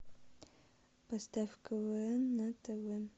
поставь квн на тв